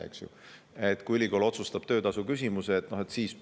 kui ülikool otsustab töötasu küsimuse, siis üks uks avaneb.